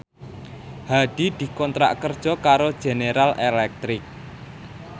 Hadi dikontrak kerja karo General Electric